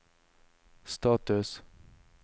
status